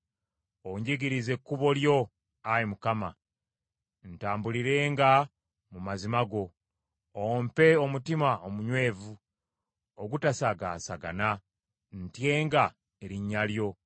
Onjigirize ekkubo lyo, Ayi Mukama , ntambulirenga mu mazima go; ompe omutima omunywevu ogutasagaasagana, ntyenga erinnya lyo.